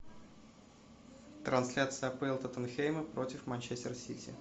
трансляция апл тоттенхэма против манчестер сити